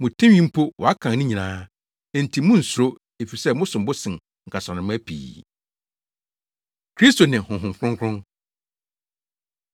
Mo tinwi mpo wɔakan ne nyinaa. Enti munnsuro, efisɛ mosom bo sen nkasanoma pii. Kristo Ne Honhom Kronkron